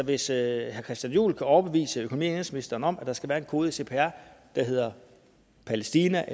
hvis herre christian juhl kan overbevise økonomi og indenrigsministeren om at der skal være en kode i cpr der hedder palæstina